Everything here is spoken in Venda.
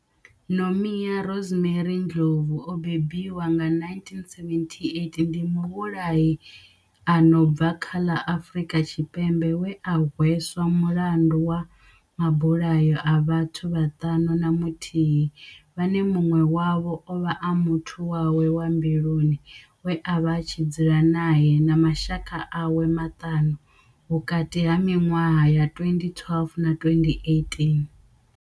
Nomia Rosemary Ndlovu o bebiwaho nga 1978 ndi muvhulahi a no bva kha ḽa Afurika Tshipembe we a hweswa mulandu wa mabulayo a vhathu vhaṱanu na muthihi vhane munwe wavho ovha a muthu wawe wa mbiluni we avha a tshi dzula nae na mashaka awe maṱanu vhukati ha minwaha ya 2012 na 2018.